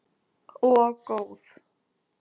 Og góð.